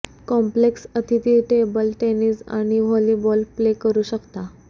complex अतिथी table tennis आणि volleyball play करू शकता